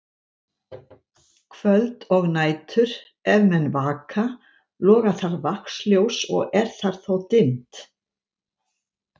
Kvöld og nætur, ef menn vaka, loga þar vaxljós og er þar þó dimmt.